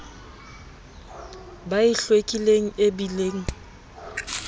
ba e hlwekileng e bileng